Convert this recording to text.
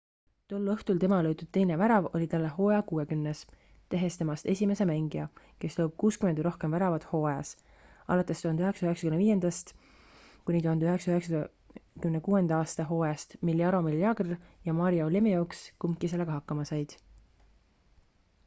tol õhtul tema löödud teine värav oli talle hooaja kuuekümnes tehes temast esimese mängija kes lööb 60 või rohkem väravat hooajas alates 1995.–96. aasta hooajast mil jaromir jagr ja mario lemieux kumbki sellega hakkama said